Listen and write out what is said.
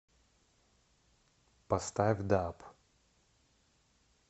поставь даб